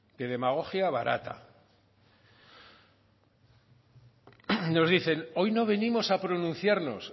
de demagogia barata nos dicen hoy no venimos a pronunciarnos